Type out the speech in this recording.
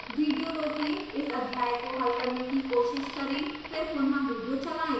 video रोकें इस अध्याय को हल करने की कोशिश करें फिर पुनः विडियो चलाएं